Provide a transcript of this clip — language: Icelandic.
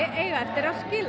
eiga eftir að skila